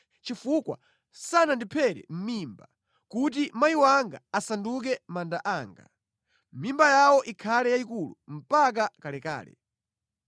Chifukwa sanandiphere mʼmimba, kuti amayi anga asanduke manda anga, mimba yawo ikhale yayikulu mpaka kalekale.